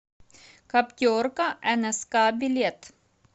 каптерка нск билет